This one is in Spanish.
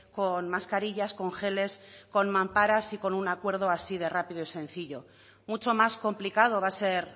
con mascarillas con geles con mamparas y con un acuerdo así de rápido y sencillo mucho más complicado va a ser